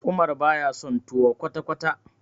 Umar baya son tuwo kwata-kwata.